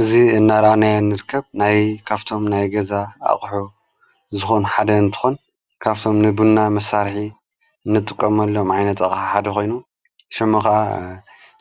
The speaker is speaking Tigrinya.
እዝ እናራናያ ንርከብ ናይ ካፍቶም ናይ ገዛ ኣቕሑ ዝኾኑ ሓደ ንትኾን ካፍቶም ንቡና ምሣርሒ ንጥቖመሎም ዓይነት ሓዲኾይኑ ሸምኸዓ